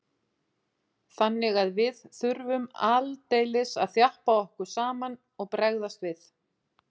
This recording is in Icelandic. Þannig að við þurftum aldeilis að þjappa okkur saman og bregðast við.